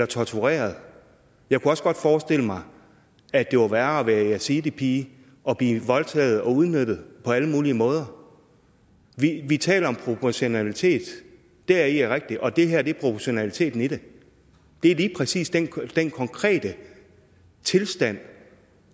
tortureret jeg kunne også godt forestille mig at det var værre at være yazidipige og blive voldtaget og udnyttet på alle mulige måder vi taler om proportionalitet det er rigtigt og det her er proportionaliteten i det det er lige præcis den konkrete tilstand